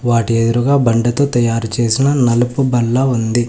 వాటి ఎదురుగా బండతో తయారుచేసిన నలుపు బల్ల ఉంది.